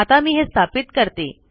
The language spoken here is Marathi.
आता मी हे स्थापित करते